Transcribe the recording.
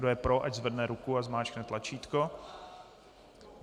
Kdo je pro, ať zvedne ruku a zmáčkne tlačítko.